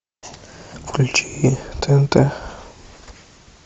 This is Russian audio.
включи тнт